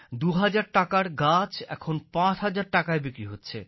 ২০০০ টাকার গাছ এখন ৫০০০টাকায় বিক্রি হচ্ছে